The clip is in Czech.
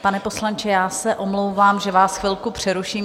Pane poslanče, já se omlouvám, že vás chvilku přeruším.